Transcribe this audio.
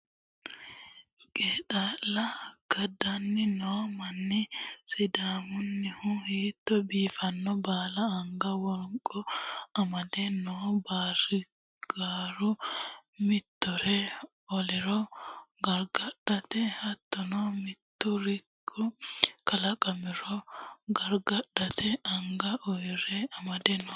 Qeexalla kadani no manni sidaamunihu hiitto biifino balla anga wonqo amade no baarigaru mittore oliro gargadhanotta hattono mituri kalqamiro gargadhate anga urde amade no.